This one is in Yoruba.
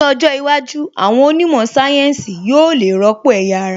Ní ọjọ́ iwájú, àwọn onímọ̀ sáyẹ́ǹsì yóò le rọ́pò ẹ̀yà ara